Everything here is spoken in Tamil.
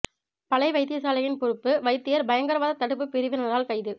பளை வைத்தியசாலையின் பொறுப்பு வைத்தியர் பயங்கரவாத தடுப்பு பிரிவினரால் கைது